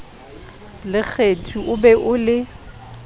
lekgethi o be o le